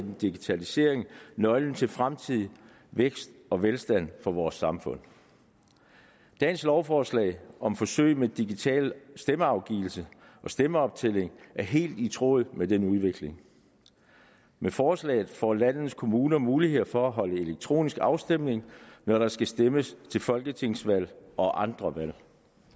digitalisering nøglen til fremtidig vækst og velstand for vores samfund dagens lovforslag om forsøg med digital stemmeafgivelse og stemmeoptælling er helt i tråd med den udvikling med forslaget får landets kommuner mulighed for at afholde elektronisk afstemning når der skal stemmes til folketingsvalg og andre valg